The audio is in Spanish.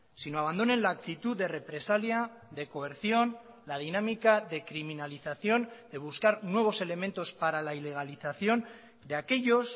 sino abandonen la actitud de represalia de coerción la dinámica de criminalización de buscar nuevos elementos para la ilegalización de aquellos